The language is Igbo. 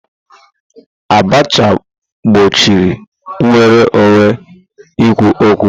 Abacha gbochie nnwere onwe ikwu okwu.